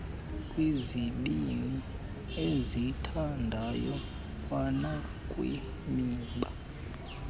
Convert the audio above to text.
kwizibini ezithandayo kwanakwimiba